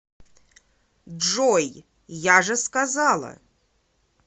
джой я же сказала